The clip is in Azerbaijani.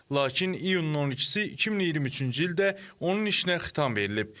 Lakin iyunun 12-i 2023-cü ildə onun işinə xitam verilib.